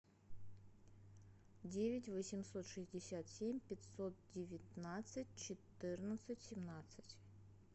девять восемьсот шестьдесят семь пятьсот девятнадцать четырнадцать семнадцать